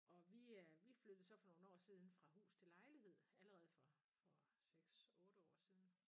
Og vi øh vi flyttede så for nogle år siden fra hus til lejlighed allerede for for 6 8 år siden